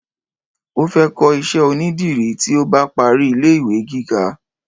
o fe ko iṣẹ onidiri ti o ba pari ile iwe gíga